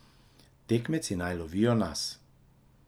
Tekmeci naj lovijo nas.